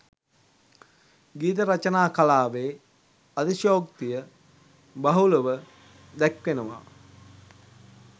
ගීත රචනා කලාවේ අතිශයෝක්තිය බහුලව දැක්වෙනවා.